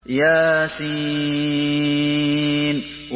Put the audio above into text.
يس